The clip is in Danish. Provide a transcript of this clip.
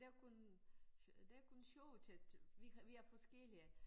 Det er kun det er kun sjove ting til vi er vi er forskellige